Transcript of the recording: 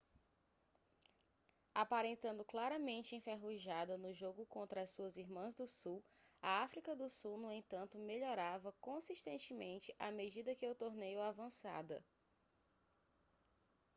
aparentando claramente enferrujada no jogo contra as suas irmãs do sul a áfrica do sul no entanto melhorava consistentemente à medida que o torneio avançada